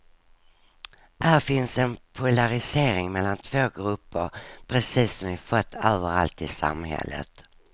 Här finns en polarisering mellan två grupper, precis som vi fått överallt i samhället.